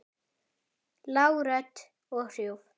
Lág rödd og hrjúf.